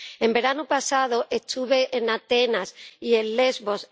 El verano pasado estuve en Atenas y en Lesbos.